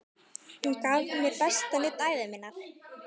Hún gaf mér besta nudd ævi minnar.